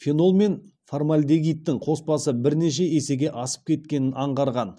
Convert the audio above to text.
фенол мен формальдегидтің қоспасы бірнеше есеге асып кеткенін аңғарған